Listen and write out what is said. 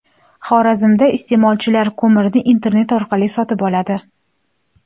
Xorazmda iste’molchilar ko‘mirni internet orqali sotib oladi.